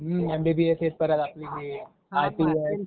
हूं MBBS हे परत आपलं हे. अ